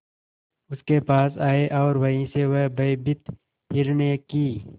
उसके पास आए और वहीं से वह भयभीत हिरनी की